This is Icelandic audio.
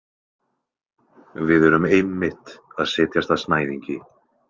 Við erum einmitt að setjast að snæðingi.